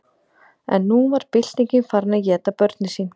en nú var byltingin farin að éta börnin sín